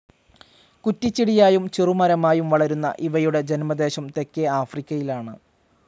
കുറ്റിച്ചെടിയായും ചെറുമരമായും വളരുന്ന ഇവയുടെ ജന്മദേശം തെക്കേആഫ്രിക്കയിലാണ്.